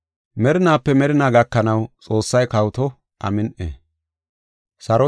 Merinaape merinaa gakanaw Xoossay kawoto. Amin7i.